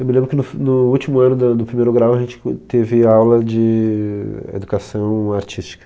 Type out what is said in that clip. Eu me lembro que no f no último ano da do primeiro grau a gente co teve aula de educação artística.